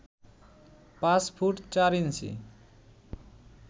পাঁচ ফুট চার ইঞ্চি